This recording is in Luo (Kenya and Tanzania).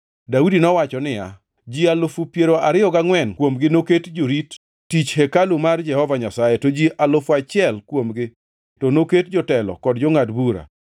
Daudi nowacho niya, “Ji alufu piero ariyo gangʼwen kuomgi noket jorit tich e hekalu mar Jehova Nyasaye, to ji alufu auchiel kuomgi to noket jotelo kod jongʼad bura.